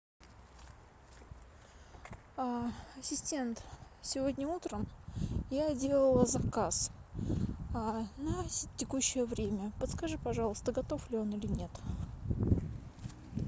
ассистент сегодня утром я делала заказ на текущее время подскажи пожалуйста готов ли он или нет